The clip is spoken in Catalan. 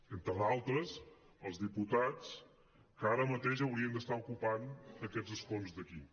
entre d’altres als diputats que ara mateix haurien d’estar ocupant aquests escons d’aquí